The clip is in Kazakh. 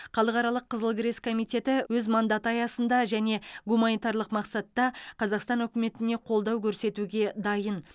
халықаралық қызыл крест комитеті өз мандаты аясында және гуманитарлық мақсатта қазақстан үкіметіне қолдау көрсетуге дайын